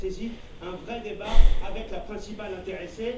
Cela nécessite un vrai débat avec la principale intéressée.